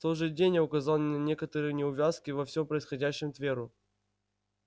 в тот же день я указал на некоторые неувязки во всём происходящем тверу